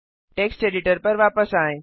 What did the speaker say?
text editor पर वापस आएँ